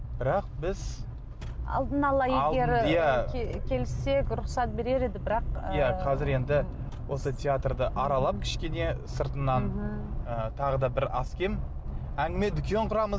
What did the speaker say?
бірақ біз алдын ала егер иә келіссек рұқсат берер еді бірақ иә қазір енді осы театрды аралап кішкене сыртынан і тағы да бір аз кем әңгіме дүкен құрамыз